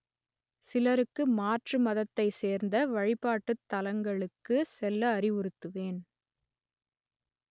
சிலருக்கு மாற்று மதத்தை சேர்ந்த வழிபாட்டுத் தலங்களுக்கு செல்ல அறிவுறுத்துவேன்